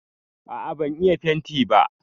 A'a ban iya fenti ba